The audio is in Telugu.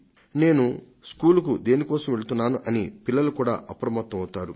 నేను దేని కోసం స్కూలుకు వెళ్తున్నాను అని పిల్లలు కూడా అప్రమత్తమవుతారు